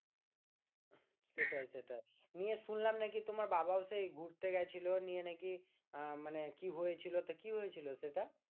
সেটাই সেটাই ইএ শুনলাম নাকি তোমার বাবা ও সেই ঘুরতে গেছিলো নিয়ে নাকি কি হয়ে ছিল তো কি হয়েছিল সেটা